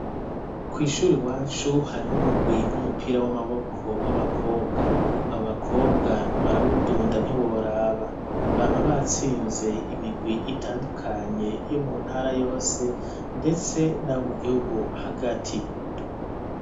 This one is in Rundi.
Kw'ishure iwacu hariho umugwi w'umupira w'amaboko w'abakobwa abo bakobwa barawudunda ntiworaba bampa batsinze imigwi itandukanye yo mu ntara yose ndetse n'abo mu gihugu hagati.